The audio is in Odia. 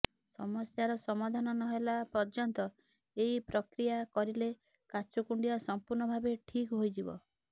ସମସ୍ୟାର ସମାଧାନ ନହେଲା ପର୍ଯ୍ୟନ୍ତ ଏହି ପ୍ରକ୍ରିୟା କରିଲେ କାଛୁ କୁଣ୍ଡିଆ ସମ୍ପୂର୍ଣ୍ଣ ଭାବେ ଠିକ୍ ହୋଇଯିବ